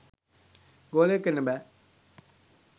ගෝලයෙක් වෙන්න බෑ